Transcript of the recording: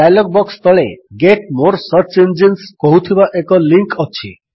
dialog box ତଳେ get more search engines କହୁଥିବା ଏକ ଲିଙ୍କ୍ ଅଛି